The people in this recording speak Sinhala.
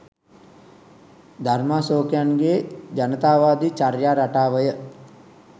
ධර්මාශෝකයන්ගේ ජනතාවාදි චර්යා රටාවය